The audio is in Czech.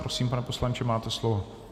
Prosím, pane poslanče, máte slovo.